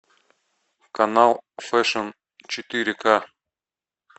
канал фэшн четыре ка